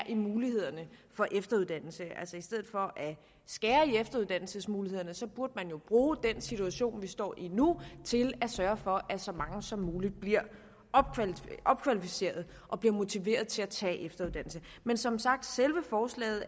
mulighederne for efteruddannelse i stedet for at skære ned på efteruddannelsesmulighederne burde man jo bruge den situation vi står i nu til at sørge for at så mange som muligt bliver opkvalificeret og bliver motiveret til at tage efteruddannelse men som sagt selve forslaget